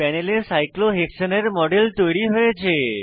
প্যানেলে সাইক্লোহেক্সেনের মডেল তৈরী হয়েছে